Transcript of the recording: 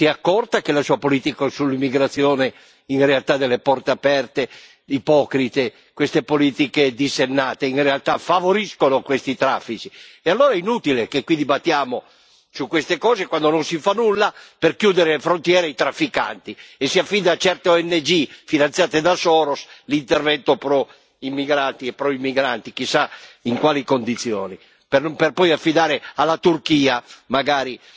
Si è accorta che la sua politica sull'immigrazione, delle porte aperte ipocrite, queste politiche dissennate, in realtà favoriscono questi traffici? E allora è inutile che qui dibattiamo su queste cose quando non si fa nulla per chiudere le frontiere ai trafficanti e si affida a certe ONG finanziate da Soros l'intervento pro immigrati e pro migranti, chissà in quali condizioni, per poi affidare alla Turchia, magari,